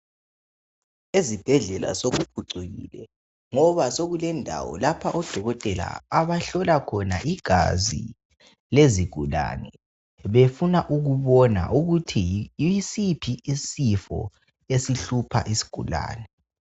ezibhedlela sokuphucukile ngoba kulendawo lapha odokotela abahlola khona igazi elezigulane befuna ukubona ukuthi yisiphi isifo esihlupha isigulane